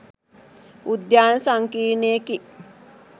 උද්‍යාන සංකීර්ණයකි